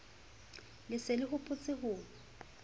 le se le hopotse ho